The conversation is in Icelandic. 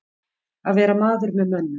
Að vera maður með mönnum